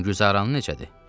Güngüzaran necədir?